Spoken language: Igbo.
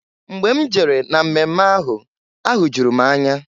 Mgbe m jere na mmemme ahụ, ahụjụrụ m anya.